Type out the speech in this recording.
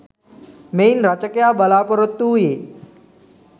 මෙයින් රචකයා බලාපොරොත්තු වූයේ